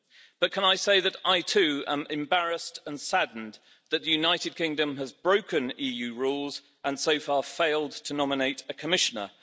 But can I say that I, too, am embarrassed and saddened that the United Kingdom has broken EU rules, and so far failed to nominate a Commissioner?